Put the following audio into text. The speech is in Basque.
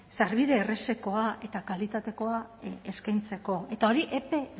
sarbide errazakoa eta kalitatekoa eskaintzeko eta hori epe